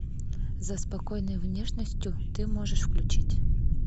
за спокойной внешностью ты можешь включить